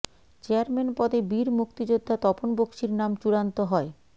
chairman পদে বীর মুক্তিযোদ্ধা তপন বক্সীর নাম চূড়ান্ত হয়